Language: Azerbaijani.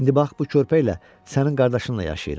İndi bax bu körpəylə sənin qardaşınla yaşayıram.